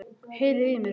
Heyriði í mér?